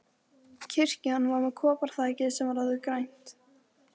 Kirkjan var með koparþaki sem var orðið grænt.